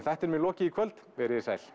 þættinum er lokið í kvöld veriði sæl